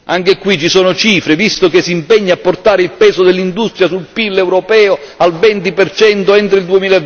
Anche qui ci sono cifre visto che si impegna a portare il peso dell'industria sul PIL europeo al 20 entro